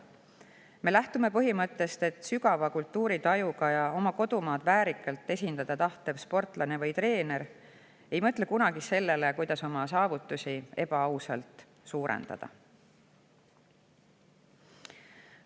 Me lähtume põhimõttest, et sügava kultuuritajuga ja oma kodumaad väärikalt esindada tahtev sportlane või treener ei mõtle kunagi sellele, kuidas oma saavutusi ebaausalt suurendada.